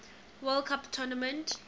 world cup tournament